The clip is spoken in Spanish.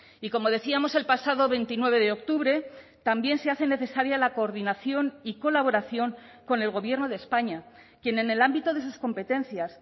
y como decíamos el pasado veintinueve de octubre también se hace necesaria la coordinación y colaboración con el gobierno de españa quien en el ámbito de sus competencias